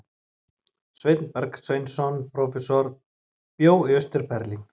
Sveinn Bergsveinsson prófessor bjó í Austur-Berlín.